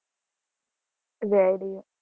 Very